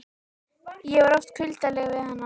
Ég var oft kuldaleg við hana.